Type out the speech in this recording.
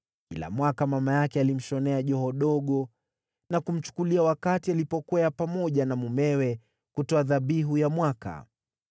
Kila mwaka mama yake alimshonea joho dogo na kumchukulia wakati alipokwea pamoja na mumewe kutoa dhabihu ya mwaka.